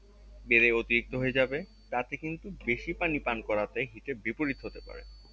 বেড়ে অতিরিক্ত হয়ে যাবে তাতে কিন্তু বেশি পানি পান করাতে হিতের বিপরীত হতে পারে